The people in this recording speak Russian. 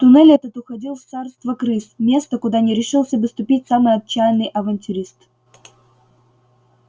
туннель этот уходил в царство крыс место куда не решился бы ступить самый отчаянный авантюрист